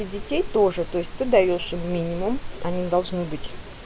и детей тоже то есть ты даёшь им минимум они должны быть